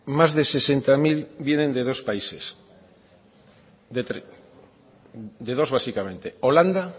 más de sesenta y seis mil vienen de dos países de dos básicamente holanda